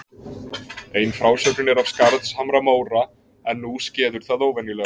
Ein frásögnin er af Skarðshamra-Móra: En nú skeður það óvenjulega.